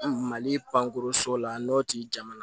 Mali pankurun so la n'o t'i jamana